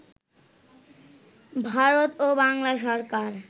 ভারত ও বাংলা সরকার